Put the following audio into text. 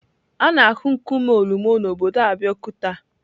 A na-ahụ nkume Olumo na obodo Abeokuta.